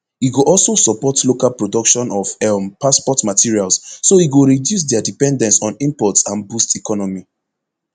e go also support local production of um passport materials so e go reduce dia dependence on imports and boost economy